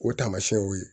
O taamasiyɛnw ye